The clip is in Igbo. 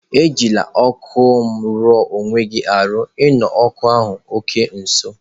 Ejila okụ me rue onweghi aru!, E nokwá okụ nso.